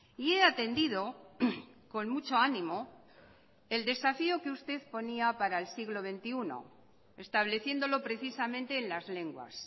y he atendido con mucho ánimo el desafío que usted ponía para el siglo veintiuno estableciéndolo precisamente en las lenguas